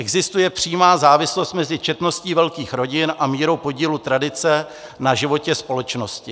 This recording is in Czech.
Existuje přímá závislost mezi četností velkých rodin a mírou podílu tradice na životě společnosti.